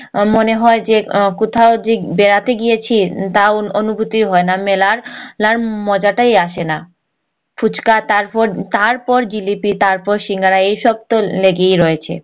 আমার মনে হয় যে আহ কোথাও যে বেড়াতে গিয়েছি তাও অনুভূতি হয়না মেলার লার মজাটাই আসেনা ফুচকা তারপর তারপর জিলিপি তারপর সিঙ্গারা এই সব তো লেগেই রয়েছে